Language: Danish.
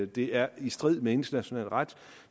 det er i strid med international ret